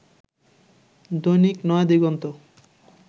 Dainik Nayadiganta